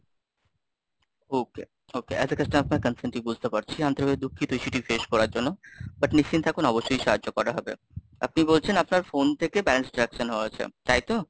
Okay, okay, as a customer constantly বুঝতে পারছি আন্তরিক ভাবে দুঃখিত সেটি face করার জন্য, butt নিশ্চিন্ত অবশ্যই সাহায্য করা হবে, আপনি বলছেন আপনার phone থেকে balance deduction হওয়া হয়েছে, তাই তো?